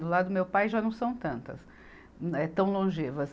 Do lado do meu pai já não são tantas, eh tão longevas.